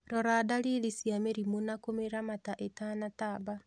Rora dalili cia mĩrimu na kũmĩramata ĩtanatamba